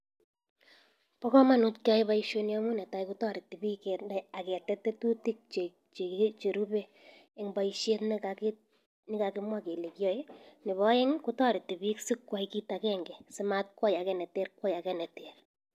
Pa kamanut keyai baishoni amun netai kotariti bik kenai aketet tetutik cherupe en'g baishet nekakimwa kele kiaye, nebo ae'ng kotariti bik si kway kit akenge si matkwai ake neter kway ake neter.